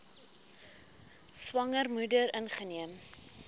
swanger moeder ingeneem